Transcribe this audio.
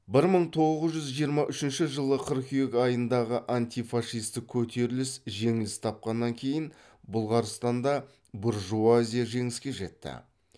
бір мың тоғыз жүз жиырма үшінші жылы қыркүйек айындағы антифашистік көтеріліс жеңіліс тапқаннан кейін бұлғарстанда буржуазия жеңіске жетті